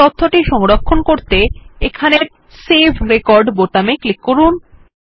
এই তথ্যটি সংরক্ষণ করতে এখানের সেভ রেকর্ড বোতামে ক্লিক করুন